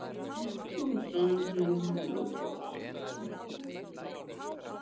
Fjórða ástæðan er viðleitni Bandaríkjastjórnar til að stuðla að sæmilegu jafnvægi á mjög óstöðugu svæði.